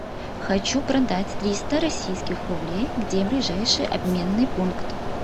хочу продать триста российских рублей где ближайший обменный пункт